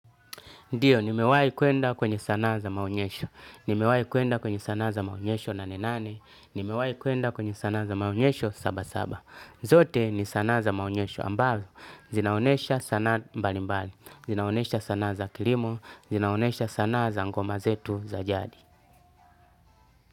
Ndiyo, nimewai kwenda kwenye sanaa za maonyesho, nimewai kwenda kwenye sanaa za maonyesho nane nane, nimewai kwenda kwenye sanaa za maonyesho saba saba, zote ni sanaa za maonyesho ambazo, zinaonesha sanaa mbalimbali, zinaonesha sanaa za kilimo, zinaonesha sanaa za ngoma zetu za jadi.